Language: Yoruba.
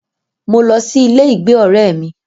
Mo lọ sí ilé ìgbé ọrẹ́ mí.